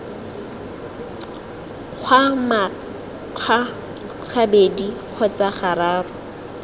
kgwa manxa gabedi kgotsa gararo